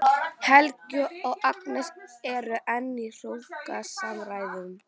Helgi og Agnes eru enn í hrókasamræðum.